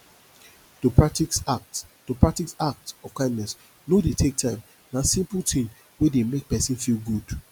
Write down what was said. to practice act to practice act of kindness no de take time na simple thing wey de make persin feel good